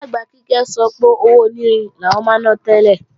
Ìyá-àgbà Kíkẹ́ sọ pé owó onírin làwọn máa ná tẹ́lẹ̀